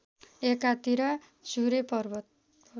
एकातिर चुरे पर्वत